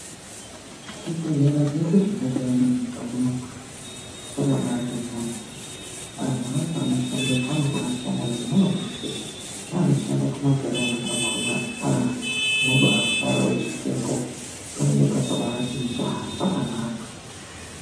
Zvibhehlera zvese zvendakaenda munyika muno hai, zvakabaati mhoryo. Anhu acho anoshandepo anobaashanda ngemwoyo wese. Neanoshanda kumagiraundi kwakhona aaa, unobaafara weisvikepo. Panenge pakabaati njaa pakanaka.